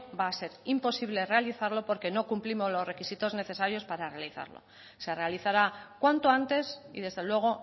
va a ser imposible realizarlo porque no cumplimos lo requisitos necesarios para realizarlo se realizará cuanto antes y desde luego